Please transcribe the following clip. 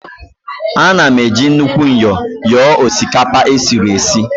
Ana m eji nnukwu myọ nyọọ osikapa esiri esi